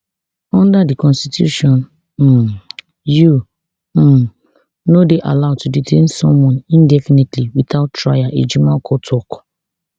under di constitution um you um no dey allowed to detain someone indefinitely witout trial ejimakor tok